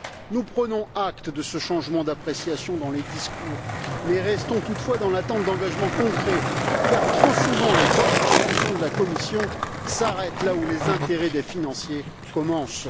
Nous prenons acte de ce changement d'appréciation dans les discours mais restons, toutefois, dans l'attente d'engagements concrets car, trop souvent, les bonnes intentions de la Commission s'arrêtent là où les intérêts des financiers commencent.